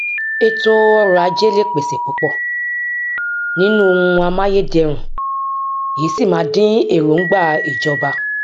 ètò ọrọajé lè pèse púpọ nínú ohun amáyédẹrùn èyí sì ma dín èròǹgbà ìjọba